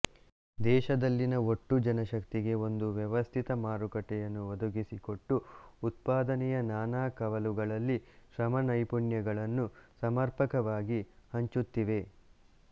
ದೇಶದಲ್ಲಿನ ಒಟ್ಟು ಜನಶಕ್ತಿಗೆ ಒಂದು ವ್ಯವಸ್ಥಿತ ಮಾರುಕಟ್ಟೆಯನ್ನು ಒದಗಿಸಿಕೊಟ್ಟು ಉತ್ಪಾದನೆಯ ನಾನಾ ಕವಲುಗಳಲ್ಲಿ ಶ್ರಮ ನೈಪುಣ್ಯಗಳನ್ನು ಸಮರ್ಪಕವಾಗಿ ಹಂಚುತ್ತಿವೆ